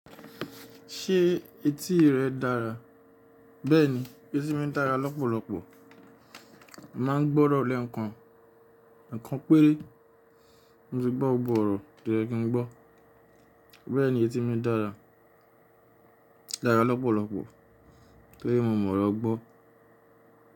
Ṣé etí rẹ dára? Bẹ́ẹ̀ni, etí mi dára lọ́pọ̀lọpọ̀. Mo máa ń gbọ́ orọ̀ lẹ́ ekan, ekan péré. Mo ti gbọ́ gbo ọ̀rọ̀ tí oye kí n gbọ́. Bẹ́ẹ̀ni etí mi dára lọ́pọ̀lọpọ̀ tí ó jẹ pe mo mọ̀ ọro gbọ́.